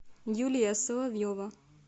юлия соловьева